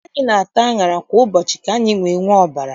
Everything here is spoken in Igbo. Anyị na-ata aṅara kwa ụbọchị ka anyị wee nwee ọbara.